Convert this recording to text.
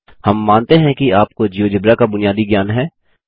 हम मानते हैं कि आपको जियोजेब्रा का बुनियादी ज्ञान है